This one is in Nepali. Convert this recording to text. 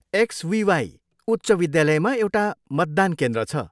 एक्सबिवाई उच्च विद्यालयमा एउटा मतदान केन्द्र छ।